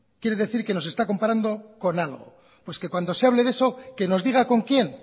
quiere decir que nos está comparando con algo pues que cuando se hable de eso que nos diga con quién